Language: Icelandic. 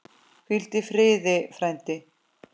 Hvíldu í friði, frændi.